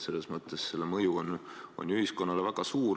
Selles mõttes on selle mõju ühiskonnale ju väga suur.